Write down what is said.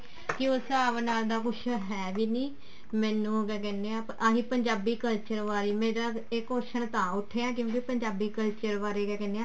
ਕੇ ਉਸ ਹਿਸਾਬ ਨਾਲ ਦਾ ਕੁੱਝ ਹੈ ਵੀ ਨੀ ਮੈਨੂੰ ਕਿਆ ਕਹਿਨੇ ਹਾਂ ਆਹੀ ਪੰਜਾਬੀ culture ਬਾਰੇ ਮੇਰਾ ਇਹ question ਤਾਂ ਉੱਠਿਆ ਜਿਵੇਂ ਪੰਜਾਬੀ culture ਬਾਰੇ ਕਿਆ ਕਹਿਨੇ ਆਂ